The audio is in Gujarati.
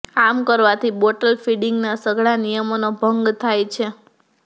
આમ કરવાથી બોટલ ફીડિંગના સઘળા નિયમોનો ભંગ થાય છે